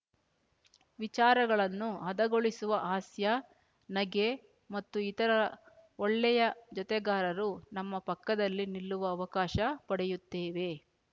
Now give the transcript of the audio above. ವಿಚಾರಗಳನ್ನು ಹದಗೊಳಿಸುವ ಹಾಸ್ಯ ನಗೆ ಮತ್ತು ಇತರ ಒಳ್ಳೆಯ ಜೊತೆಗಾರರು ನಮ್ಮ ಪಕ್ಕದಲ್ಲಿ ನಿಲ್ಲುವ ಅವಕಾಶ ಪಡೆಯುತ್ತೇವೆ